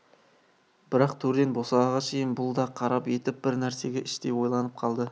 бірақ төрден босағаға шейін бұл да қарап етіп бір нәрсеге іштей ойланып қалды